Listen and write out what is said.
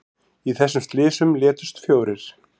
Í þessum slysum létust fjórir